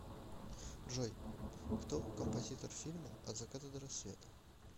джой кто композитор фильма от заката до рассвета